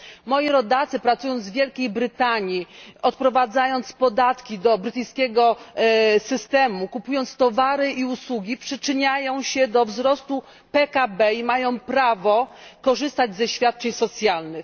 Moi rodacy, pracując w Wielkiej Brytanii, odprowadzając podatki do brytyjskiego systemu, kupując towary i usługi, przyczyniają się do wzrostu PKB i mają prawo korzystać ze świadczeń socjalnych.